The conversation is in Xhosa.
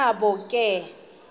nabo ke bona